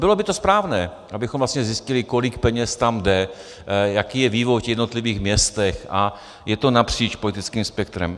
Bylo by to správné, abychom vlastně zjistili, kolik peněz tam jde, jaký je vývoj v těch jednotlivých městech a je to napříč politickým spektrem.